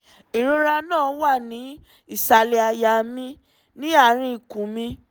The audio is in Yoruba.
ìrora náà wà ní ìsàlẹ̀ àyà mi ní àárín ikùn mi